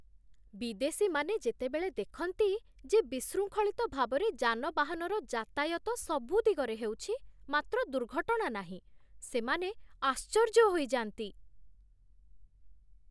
ବିଦେଶୀମାନେ ଯେତେବେଳେ ଦେଖନ୍ତି ଯେ ବିଶୃଙ୍ଖଳିତ ଭାବରେ ଯାନବାହନର ଯାତାୟତ ସବୁ ଦିଗରେ ହେଉଛି, ମାତ୍ର ଦୁର୍ଘଟଣା ନାହିଁ, ସେମାନେ ଆଶ୍ଚର୍ଯ୍ୟ ହୋଇଯାନ୍ତି।